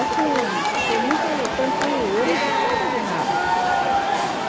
Assim, foi muito tranquilo e eu não tinha medo de nada.